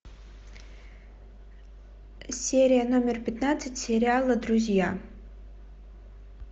серия номер пятнадцать сериала друзья